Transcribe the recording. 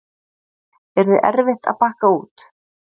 Yrði erfitt að bakka út?